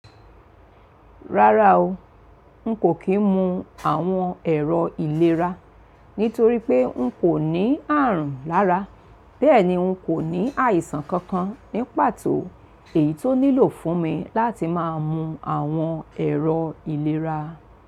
Rárá o, n kò kí n mu àwọn ẹ̀rọ ìlera, nítorí pé n kò ní ààrùn lára, bẹ́ẹ̀ ni n kò ní àìsàn kankan ní pàtó èyí tó nílò fún mi láti má a mu àwọn ẹ̀rọ ìlera.